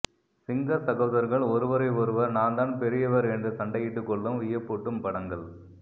சிங்க சகோதர்கள் ஒருவரை ஒருவர் நான்தான் பெரியவர் என்று சண்டையிட்டு கொள்ளும் வியப்பூட்டும் படங்கள்